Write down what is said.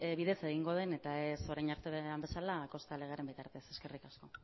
bidez egingo den eta ez orain arte den bezala kosta legearen bitartez eskerrik asko